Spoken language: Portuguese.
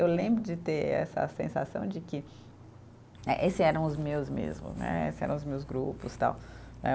Eu lembro de ter essa sensação de que, eh esse eram os meus mesmo né, esse eram os meus grupos, tal.